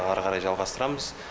әрі қарай жалғастырамыз